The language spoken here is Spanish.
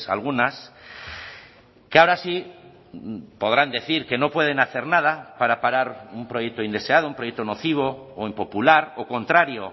algunas que ahora sí podrán decir que no pueden hacer nada para parar un proyecto indeseado un proyecto nocivo o impopular o contrario